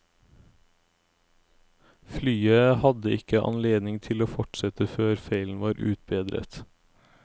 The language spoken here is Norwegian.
Flyet hadde ikke anledning til å fortsette før feilen var utbedret.